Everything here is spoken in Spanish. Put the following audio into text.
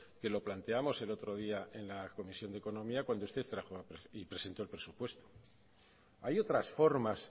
que lo planteamos el otro día en la comisión de economía cuando usted trajo y presentó el presupuesto hay otras formas